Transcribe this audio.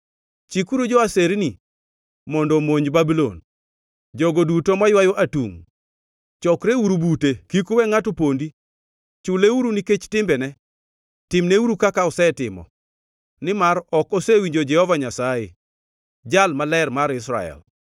“Chikuru jo-aserni mondo omonj Babulon, jogo duto maywayo atungʼ. Chokreuru bute; kik uwe ngʼato pondi. Chuleuru nikech timbene; timneuru kaka osetimo. Nimar ok osewinjo Jehova Nyasaye, Jal Maler mar Israel.”